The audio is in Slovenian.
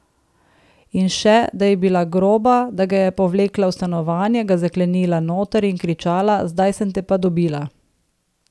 In še, da je bila groba, da ga je povlekla v stanovanje, ga zaklenila noter in kričala: 'Zdaj sem te pa dobila.